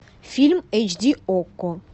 фильм эйч ди окко